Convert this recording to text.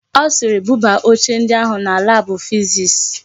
Ọ sịịrị, buba oche ndi ahụ na laabụ fiziks.